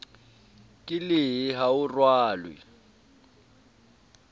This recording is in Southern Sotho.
ke lehe ha o rwale